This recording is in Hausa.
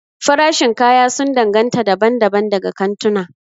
Farashin kaya sun danganta daban-daban daga kantuna.